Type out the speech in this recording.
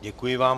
Děkuji vám.